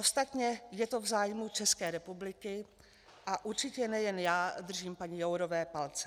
Ostatně je to v zájmu České republiky a určitě nejen já držím paní Jourové palce.